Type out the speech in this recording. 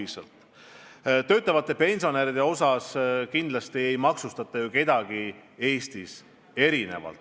Mis puutub töötavatesse pensionäridesse, siis kindlasti ei maksustata kedagi Eestis teistest erinevalt.